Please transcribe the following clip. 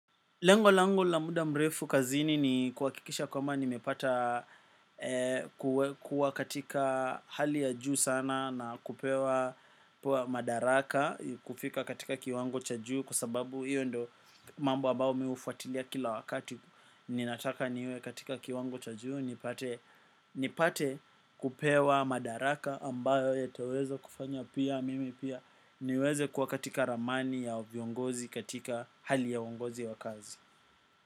Lengo langu la muda mrefu kazini ni kuhakikisha kwamba nimepata kuwa katika hali ya juu sana na kupewa madaraka kufika katika kiwango cha juu kwa sababu hiyo ndiyo mambo ambao mi mi hufuatilia kila wakati. Ninataka niwe katika kiwango cha juu, nipate kupewa madaraka ambayo yataweza kufanya pia mimi pia niweze kuwa katika ramani ya viongozi katika hali ya uongozi wa kazi.